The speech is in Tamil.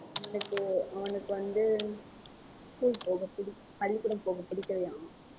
அவனுக்கு அவனுக்கு வந்து school போக பிடிக்க~ பள்ளிக்கூடம் போக பிடிக்கலையாம்